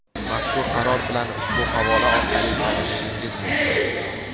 Mazkur Qaror bilan ushbu havola orqali tanishishingiz mumkin.